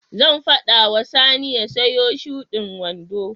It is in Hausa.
Zan faɗa wa Sani ya siyo shudin wando.